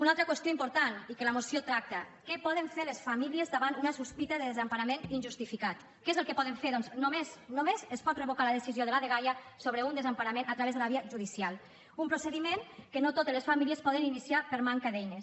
una altra qüestió important i que la moció tracta què poden fer les famílies davant una sospita de desemparament injustificat què és el que poden fer doncs només només es pot revocar la decisió de la dgaia sobre un desemparament a través de la via judicial un procediment que no totes les famílies poden iniciar per manca d’eines